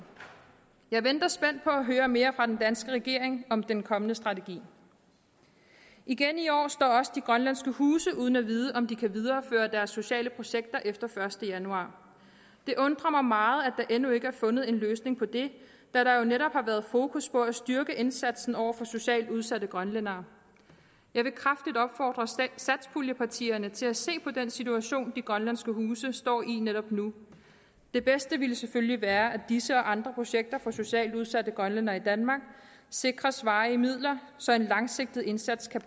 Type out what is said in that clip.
jeg venter spændt på at høre mere fra den danske regering om den kommende strategi igen i år står også de grønlandske huse uden at vide om de kan videreføre deres sociale projekter efter den første januar det undrer mig meget at der endnu ikke er fundet en løsning på det da der jo netop har været fokus på at styrke indsatsen over for socialt udsatte grønlændere jeg vil kraftigt opfordre satspuljepartierne til at se på den situation de grønlandske huse står i netop nu det bedste ville selvfølgelig være at disse og andre projekter for socialt udsatte grønlændere i danmark sikres varige midler så en langsigtet indsats kan